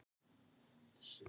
Tíu út.